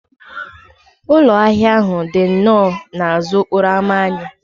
Ụlọ ahịa ahụ dị nnọọ n'azụ okporo ámá anyị